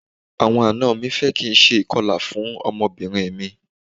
Àwọn àna mi fẹ́ kí n ṣe ìkọlà fún ọmọbìnrin mi.